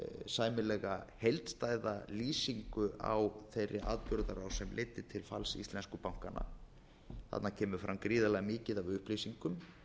sæmilega heildstæða lýsingu á þeirri atburðarás sem leiddi til falls íslensku bankanna þarna kemur fram gríðarlega mikið af upplýsingum